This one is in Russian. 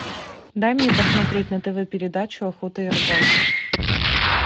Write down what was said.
дай мне посмотреть на тв передачу охота и рыбалка